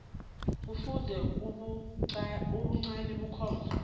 kufuze ubuncani bakhona